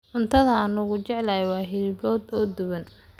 Cuntada aan ugu jecelahay waa hilib lo'aad oo duban.